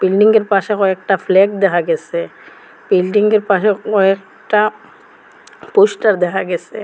বিল্ডিংয়ের পাশে কয়েকটা ফ্ল্যাগ দেখা গেসে বিল্ডিংয়ের পাশে কয়েকটা পোস্টার দেখা গেসে।